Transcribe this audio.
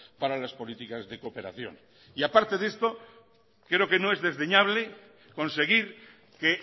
para las políticas de cooperación y aparte de esto creo que no es desdeñable conseguir que